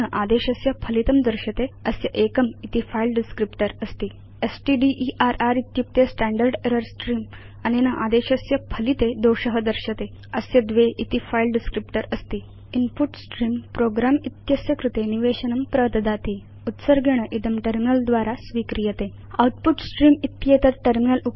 अनेन आदेशस्य फलितं दर्श्यते अस्य एकं इति फिले डिस्क्रिप्टर अस्ति स्टडर इत्युक्ते स्टैण्डर्ड् एरर् स्त्रेऽं अनेन आदेशस्य फलिते दोष दर्श्यते अस्य द्वे इति फिले डिस्क्रिप्टर अस्ति इन्पुट स्त्रेऽं प्रोग्रं इति अस्य कृते निवेशनं प्रददाति उत्सर्गेण इदं टर्मिनल द्वारा स्वीक्रियते आउटपुट स्ट्रीम्स् इत्येतत् टर्मिनल